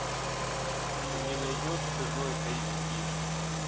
ты мне найдешь чужой эйч ди